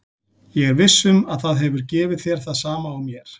Ég er viss um að það hefur gefið þér það sama og mér.